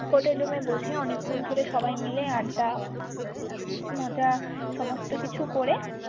hotelroom এ বসে অনেক্ষন ধরে সবাই মিলে আড্ডা মজা সমস্ত কিছু করে।